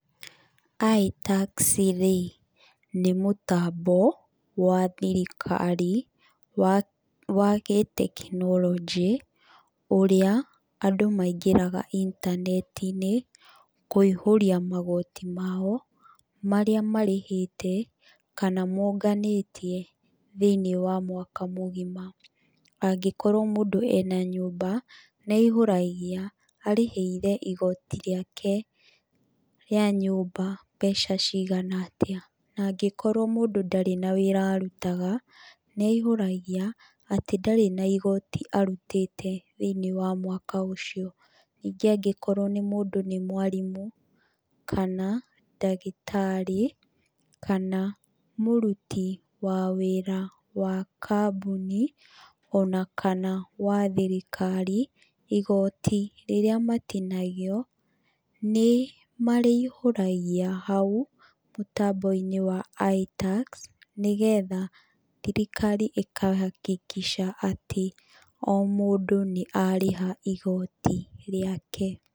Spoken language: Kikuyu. Itax rĩ, nĩ mũtambo wa thirikari, wa wa gĩtekinoronjĩ, ũrĩa andũ maingĩraga intaneti-inĩ, kũihũria magooti mao, marĩa marĩhĩte kana monganĩtie thĩiniĩ wa mwaka mũgima. Angĩkorwo mũndũ ena nyũmba, nĩ aihũragia, arĩhĩire igooti rĩake rĩa nyũmba mbeca ciagana atĩa. Na angĩkorwo mũndũ ndarĩ na wĩra arutaga, nĩ aihũragia, atĩ ndarĩ na igooti arutĩte thĩiniĩ wa mwaka ũcio. Ningĩ angĩkorwo nĩ mũndũ nĩ mwarimũ, kana ndagĩtarĩ, kana mũruti wa wĩra wa kambuni, ona kana wa thirikari, igooti rĩrĩa matinagio, nĩ marĩihũragia hau, mũtambo-inĩ wa ITax, nĩgetha thirikari ĩka hakikisha atĩ, o mũndũ nĩ arĩha igooti rĩake.